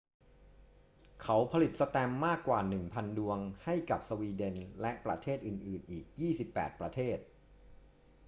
เขาผลิตแสตมป์มากกว่า 1,000 ดวงให้กับสวีเดนและประเทศอื่น ๆ อีก 28 ประเทศ